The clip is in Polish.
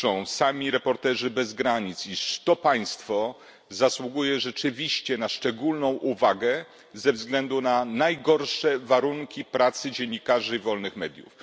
Sami Reporterzy bez Granic piszą, iż państwo to zasługuje rzeczywiście na szczególną uwagę ze względu na najgorsze warunki pracy dziennikarzy i wolnych mediów.